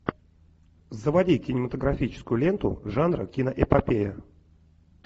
заводи кинематографическую ленту жанра киноэпопея